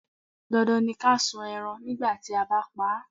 Dandan ni ká sun ẹran nígbà tí a bá pa á.